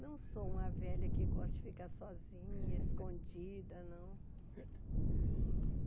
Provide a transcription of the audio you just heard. Não sou uma velha que gosta de ficar sozinha, escondida, não.